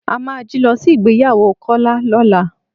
A máa jí lọ sí ìgbéyàwó Kọ́lá lọ́la.